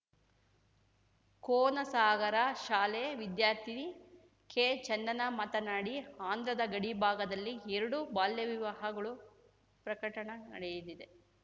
ಕೋನಸಾಗರ ಶಾಲೆ ವಿದ್ಯಾರ್ಥಿನಿ ಕೆಚಂದನ ಮಾತನಾಡಿ ಆಂಧ್ರದ ಗಡಿಭಾಗದಲ್ಲಿ ಎರಡು ಬಾಲ್ಯವಿವಾಹಗಳು ಪ್ರಕಟಣ ನಡೆಯದಿದೆ